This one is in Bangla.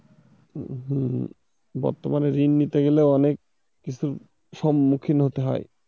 হম বর্তমানে ঋণ নিতে গেলে অনেক কিছুর সম্মুখীন হতে হয়।